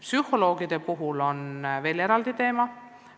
Psühholoogide koolitus on samuti eraldi teema.